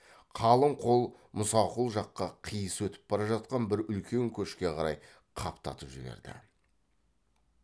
қалың қол мұсақұл жаққа қиыс өтіп бара жатқан бір үлкен көшке қарай қаптатып жіберді